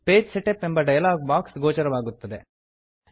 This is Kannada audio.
ಪೇಜ್ ಸೆಟಪ್ ಎಂಬ ಡಯಲಾಗ್ ಬಾಕ್ಸ್ ಗೋಚರವಾಗುತ್ತದೆ